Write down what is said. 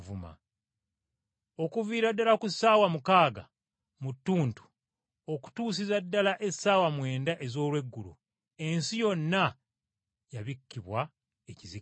Okuviira ddala ku ssaawa mukaaga mu ttuntu okutuusiza ddala essaawa mwenda ez’olweggulo ensi yonna yabikkibwa ekizikiza.